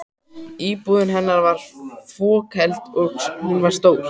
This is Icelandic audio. Íbúðin þeirra var fokheld, og hún var stór.